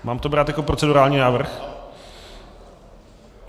Mám to brát jako procedurální návrh?